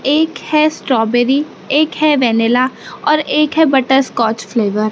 एक है स्ट्रॉबेरी एक है वैनिला और एक है बटर स्कॉच फ्लेवर ।